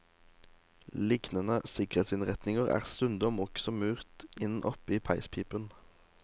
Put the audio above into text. Lignende sikkerhetsinnretninger er stundom også murt inn oppe i peispipen.